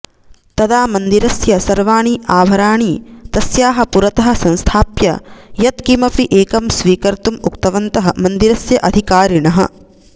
तदा मन्दिरस्य सर्वाणि आभराणि तस्याः पुरतः संस्थाप्य यत्किमपि एकं स्वीकर्तुम् उक्तवन्तः मन्दिरस्य अधिकारिणः